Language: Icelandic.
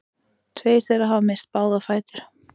Tveir þeirra hafa misst báða fætur